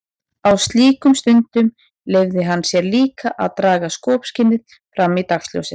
Á slíkum stundum leyfði hann sér líka að draga skopskynið fram í dagsljósið.